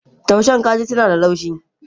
Tushen kaji suna da laushi.